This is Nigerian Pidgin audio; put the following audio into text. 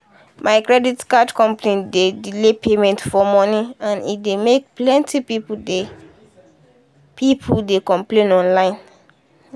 my credit card company dey delay payment of money and e come make plenty people dey people dey complain online.